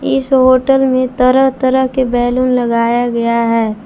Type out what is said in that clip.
इस होटल में तरह तरह के बैलून लगाया गया है।